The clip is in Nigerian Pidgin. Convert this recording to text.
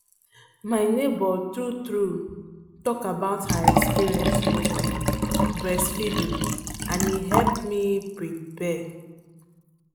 my neighbor true true um talk about her experience with um breast feeding and e help me prepare.